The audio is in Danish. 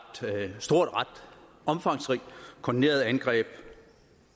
omfangsrigt koordineret angreb